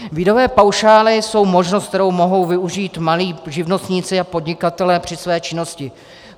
Výdajové paušály jsou možnost, kterou mohou využít malí živnostníci a podnikatelé při své činnosti.